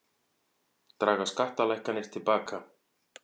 Draga skattalækkanir til baka